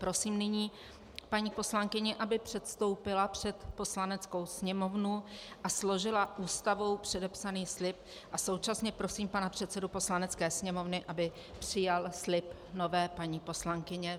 Prosím nyní paní poslankyni, aby předstoupila před Poslaneckou sněmovnu a složila Ústavou předepsaný slib, a současně prosím pana předsedu Poslanecké sněmovny, aby přijal slib nové paní poslankyně.